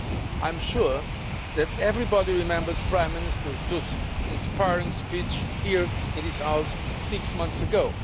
I am sure that everybody remembers Prime Minister Tusk's inspiring speech here in this House six months ago.